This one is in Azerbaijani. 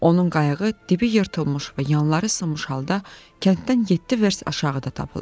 Onun qayığı dibi yırtılmış və yanları sınmış halda kənddən yeddi vers aşağıda tapıldı.